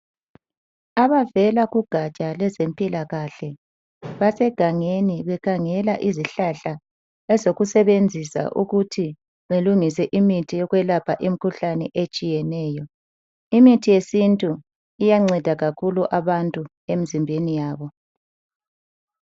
Abavela kugatsha lwezempilakahle basegangeno bekhangela izihlahla ezokusebenzisa ukuthi belungise imithi yokwelaphela imikhuhlane etshiyeneyo. Imithi yesintu iyelapha imikhuhlane etshiyeneyo.